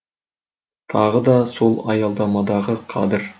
тағы да сол аялдамадағы қадір